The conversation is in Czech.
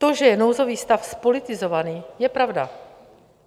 To, že je nouzový stav zpolitizovaný, je pravda.